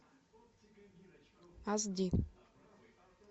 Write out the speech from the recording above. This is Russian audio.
ас ди